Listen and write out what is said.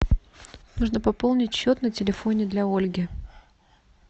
нужно пополнить счет на телефоне для ольги